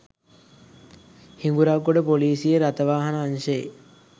හිඟුරක්ගොඩ ‍පොලිසියේ රථවාහන අංශයේ